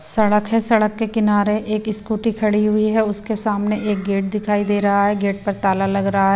सड़क है सड़क के किनारे एक स्कूटी खड़ी हुई है उसके सामने एक गेट दिखाई दे रहा है गेट पर ताला लग रहा है।